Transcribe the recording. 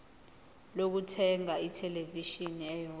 lokuthenga ithelevishini eyodwa